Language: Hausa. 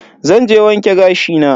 Zan je wanke gashi na.